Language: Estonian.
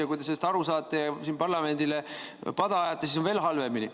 Ja kui te sellest aru saate ja parlamendile pada ajate, siis on veel halvemini.